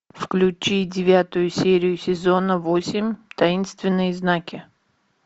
включи девятую серию сезона восемь таинственные знаки